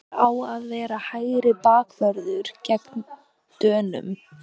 Hver á að vera hægri bakvörður gegn Dönum?